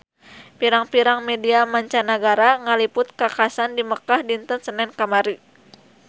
Pirang-pirang media mancanagara ngaliput kakhasan di Mekkah dinten Senen kamari